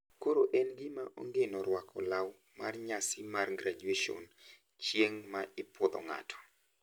Koro en gima ongino rwako law mar nyasi mar graduation chieng` ma ipuodho ng`ato.